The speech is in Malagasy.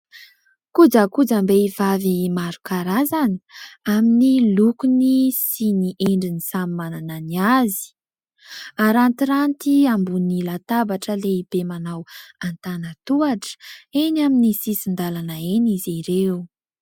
Kojakojam-behivavy maro karazany amin'ny lokony sy ny endriny samy manana ny azy. Arantiranty ambony latabatra lehibe manao antanan-tohatra eny amin'ny sisin-dalana eny izy ireo.